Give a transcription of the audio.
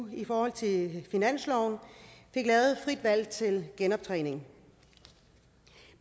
i forhold til finansloven fik lavet et frit valg til genoptræning